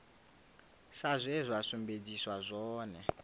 sa zwe zwa sumbedziswa zwone